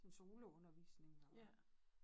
En solo undervisning og